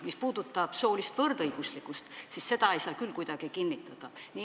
Mis puudutab soolist võrdõiguslikkust, siis ei saa seda küll kuidagi kinnitada.